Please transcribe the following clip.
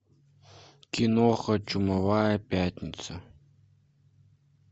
киноха чумовая пятница